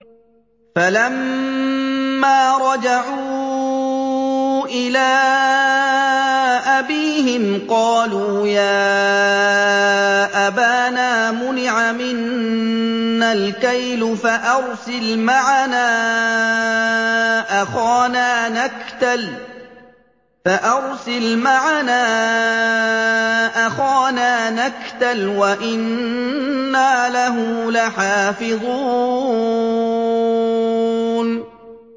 فَلَمَّا رَجَعُوا إِلَىٰ أَبِيهِمْ قَالُوا يَا أَبَانَا مُنِعَ مِنَّا الْكَيْلُ فَأَرْسِلْ مَعَنَا أَخَانَا نَكْتَلْ وَإِنَّا لَهُ لَحَافِظُونَ